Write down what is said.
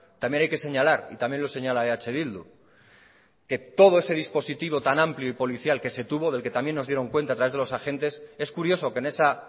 también hay que señalar y también lo señala eh bildu que todo ese dispositivo tan amplio y policial que se tuvo del que también nos dieron cuenta a través de los agentes es curioso que en esa